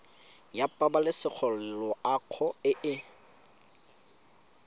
ya pabalesego loago e e